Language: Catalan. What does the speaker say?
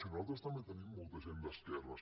si nosaltres també tenim molta gent d’esquerres